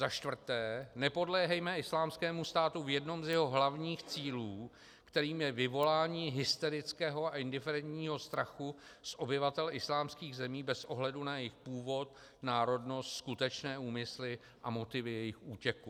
Za čtvrté, nepodléhejme Islámskému státu v jednom z jeho hlavních cílů, kterým je vyvolání hysterického a indiferentního strachu z obyvatel islámských zemí bez ohledu na jejich původ, národnost, skutečné úmysly a motivy jejich útěku.